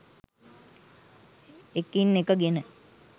එකින් එක ගෙන